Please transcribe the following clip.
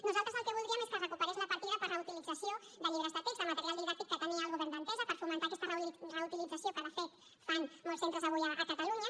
nosaltres el que voldríem és que es recuperés la partida per a reutilització de llibres de text de material didàctic que tenia el govern d’entesa per fomentar aquesta reutilització que de fet fan molts centres avui a catalunya